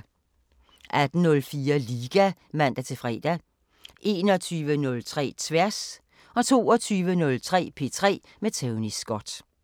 18:04: Liga (man-fre) 21:03: Tværs 22:03: P3 med Tony Scott